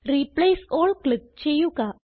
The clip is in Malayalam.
റിപ്ലേസ് ആൽ ക്ലിക്ക് ചെയ്യുക